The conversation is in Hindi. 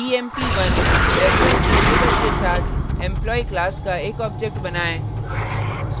emp1 reference variable के साथ employee class का एक object बनाएँ